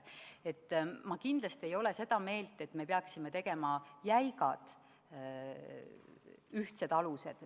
Ma kindlasti ei ole seda meelt, et me peaksime tegema jäigad ühtsed alused.